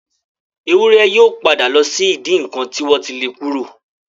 Ewúrẹ́ yóò padà lọ sí ìdí ǹnkan tí wọ́n ti le kúrò.